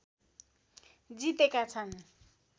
जितेका छन्